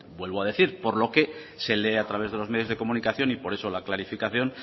vuelvo a decir por lo que se lee a través de los medios de comunicación y por eso la clarificación